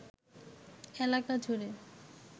এলাকা জুড়ে